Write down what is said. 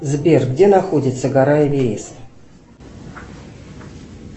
сбер где находится гора эверест